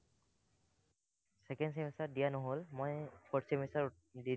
second semester ত দিয়া নহল, মই fourth semester ত দি দিলো।